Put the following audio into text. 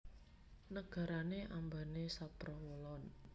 Nagarane ambane saprawolon